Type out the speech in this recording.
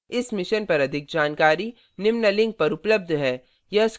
इस mission पर अधिक जानकारी निम्न लिंक पर उपलब्ध है